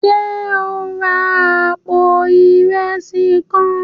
Ṣe o n rà apó Ìrẹsí kàn?